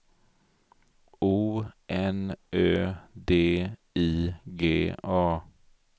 O N Ö D I G A